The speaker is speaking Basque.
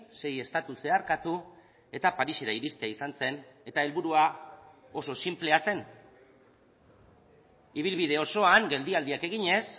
sei estatu zeharkatu eta parisera iristea izan zen eta helburua oso sinplea zen ibilbide osoan geldialdiak eginez